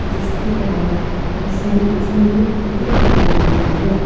जिसके बाहर बहुत सारे इंसान के क्राउड दिखाई दे रहा है।